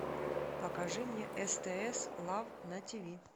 покажи мне стс лав на тиви